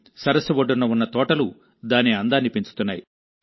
సరస్సు ఒడ్డున ఉన్న తోటలు దాని అందాన్ని పెంచుతున్నాయి